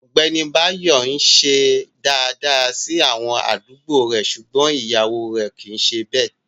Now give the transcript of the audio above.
Ọgbẹni Báyọ̀ n sìṣẹ̀ dáadáa sí àwọn aládùgbò rè ṣúgbọn iyàwọ rè kìí ṣè bẹ.